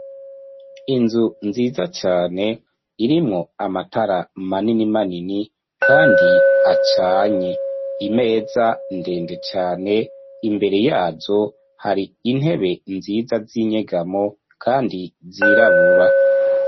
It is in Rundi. Inzu, nziza cane, irimwo amatara, manini manini, kandi acanye; imeza, ndende cane, imbere yazo, hari intebe, nziza, z’inyegamo, kandi zirabura.